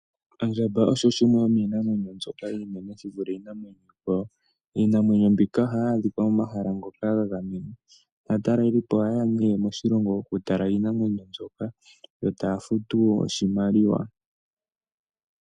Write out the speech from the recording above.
Ondjamba osho shimwe shomiinamwenyo mbyoka oshinene shi vule iinamwenyo iikwawo. Iinamwenyo mbika ohayi adhika momahala ngoka ga gamenwa naatalelipo oha yeya ne moshilongo oku tala iinamwenyo mbyoka yo taya futu oshimaliwa.